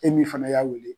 E min fana y'a wele